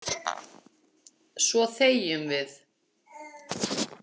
Svo þegjum við.